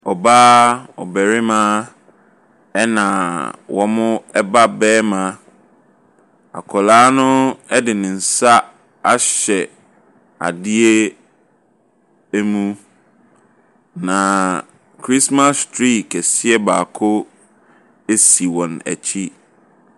Ɔbaa, ɔbarima na wɔn ba barima. Akwadaa no de ne nsa ahyɛ adeɛ mu. Na christmas tree kɛseɛ baako si wɔn akyi.